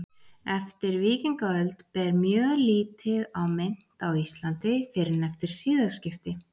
Eftir víkingaöld ber mjög lítið á mynt á Íslandi fyrr en eftir siðaskipti.